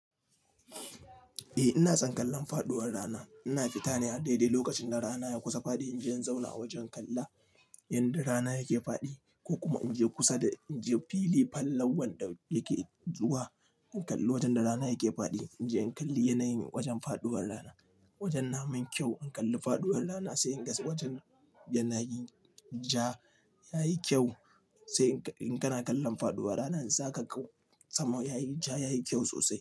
Eh ina son kallon faɗuwar rana. Ina fita ne a daidai lokacin da rana ya kusa faɗi. Inje in zauna a wajen kalla yanda rana yake faɗi ko kuma inje kusa da inje fili fal wanda yake zuwa in kalli wajen da rana yake faɗi. Inje in kalli yanayin wajen faɗuwar rana, wajen namun kyau an kalli faɗuwar rana sai inga ci wajen yana yi ja yayi kyau. Sai in kana kallon faɗuwar ranan, zaka kau sama yayi ja yayi kyau sosai.